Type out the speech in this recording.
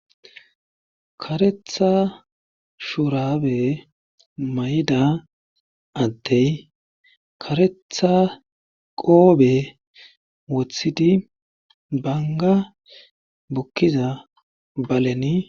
Kareththa shuraabe mayida adde kareththa qoobe woththidi bangga bukkiza baleni.